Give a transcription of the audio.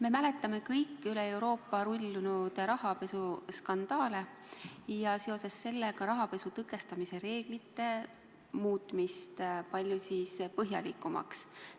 Me mäletame kõik üle Euroopa rullunud rahapesuskandaale ja seoses sellega rahapesu tõkestamise reeglite muutmist palju põhjalikumaks.